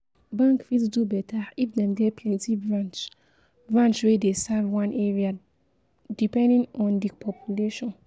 Bank fit do better if dem get plenty branch branch wey dey serve one area, depending in di population